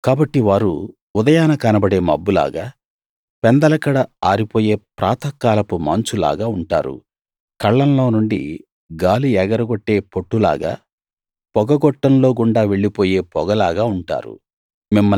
కాబట్టి వారు ఉదయాన కనబడే మబ్బులాగా పెందలకడ ఆరిపోయే ప్రాతఃకాలపు మంచులాగా ఉంటారు కళ్ళంలో నుండి గాలి ఎగరగొట్టే పొట్టులాగా పొగ గొట్టంలో గుండా వెళ్ళిపోయే పొగలాగా ఉంటారు